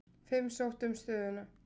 Fimm sóttu um stöðuna.